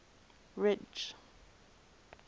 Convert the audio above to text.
ridge